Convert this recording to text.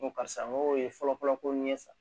N ko karisa n ko o ye fɔlɔ fɔlɔ ko nin ye sa